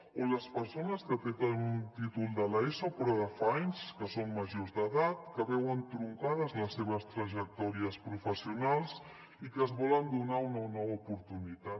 o les persones que tenen un títol de l’eso però de fa anys que són majors d’edat que veuen truncades les seves trajectòries professionals que es volen donar una nova oportunitat